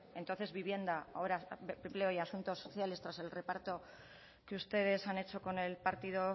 entonces vivienda ahora empleo y asuntos sociales tras el reparto que ustedes han hecho con el partido